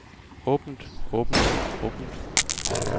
åbent åbent åbent